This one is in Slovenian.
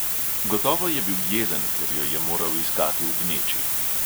Gotovo je bil jezen, ker jo je moral iskati v gneči.